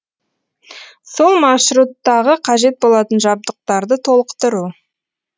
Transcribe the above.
сол маршруттағы қажет болатын жабдықтарды толықтыру